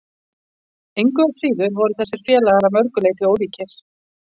engu að síður voru þessir félagar að mörgu leyti ólíkir